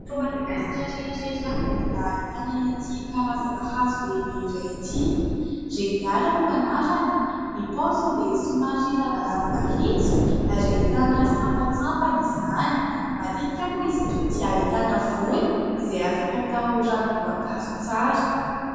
Eto Madagasikara irery ihany no mbola ahitana ity karazana hazo lehibe iray ity, « reniala » no anarany ; ny paoziny dia somary lavalava mahitsy ary ahitana sampatsampany izany. Matetika moa izy itony dia ahitana voany izay afaka atao ranomboankazo tsara.